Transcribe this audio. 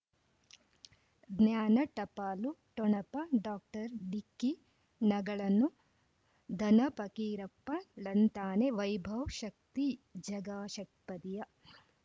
ಜ್ಞಾನ ಟಪಾಲು ಠೊಣಪ ಡಾಕ್ಟರ್ ಢಿಕ್ಕಿ ಣಗಳನು ಧನ ಫಕೀರಪ್ಪ ಳಂತಾನೆ ವೈಭವ್ ಶಕ್ತಿ ಝಗಾ ಷಟ್ಪದಿಯ